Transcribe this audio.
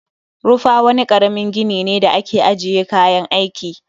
Rufa wani karamin gini ne da ake ajiye kayan aiki